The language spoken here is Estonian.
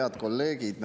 Head kolleegid!